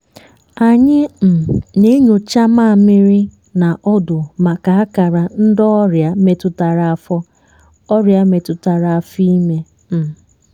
anyị um na-enyocha maamịrị na ọdụ maka akara ndị ọrịa metụtara afọ ọrịa metụtara afọ ime. um